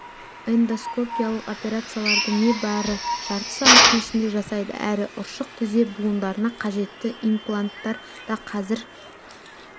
эндоскопиялық операцияларды небары жарты сағаттың ішінде жасайды әрі ұршық тізе буындарына қажетті импланттар да қазір